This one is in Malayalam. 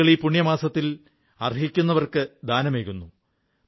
ആളുകൾ ഈ പുണ്യമാസത്തിൽ അർഹിക്കുന്നവർക്ക് ദാനമേകുന്നു